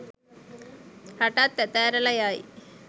රටත් ඇත ඇරලා යයි.